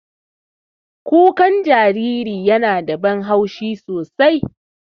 Kuka jariri yana da ban haushi sosai.